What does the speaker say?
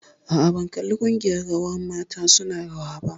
Aa, ban kalli ƙungiyar rawar mata su na rawa ba